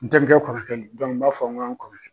N terikɛ kɔrɔ kɛ nb'a fɔ n' ka kɔrɔ kɛ.